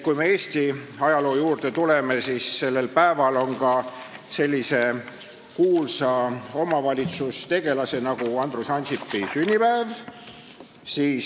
Kui me Eesti ajaloo juurde tuleme, siis sellel päeval on ka tuntud omavalitsustegelase Andrus Ansipi sünnipäev.